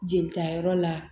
Jelita yɔrɔ la